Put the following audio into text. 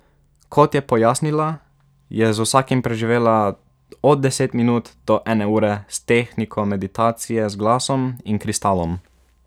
Kot je pojasnila, je z vsakim preživela od deset minut do ene ure s tehniko meditacije z glasom in kristalom.